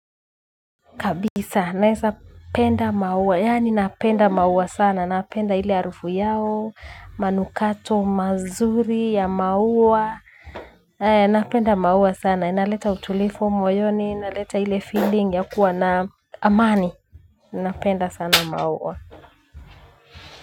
Kabisa naesa penda maua yaani napenda maua sana napenda ile harufu yao manukato mazuri ya maua napenda maua sana inaleta utulifu moyoni inaleta ile feeling ya kuwa naamani napenda sana maua.